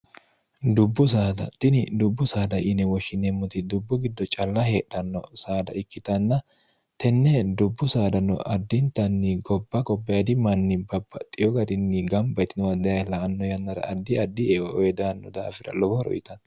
dubbu sadtini dubbu saada ine woshshineemmoti dubbu giddo calla heedhanno saada ikkitanna tenne dubbu saadano addintanni gobba qobbdi manni babba xiyo garinni gambayitio d la anno yannara addi addi eedanno daafira lobo horoyitanno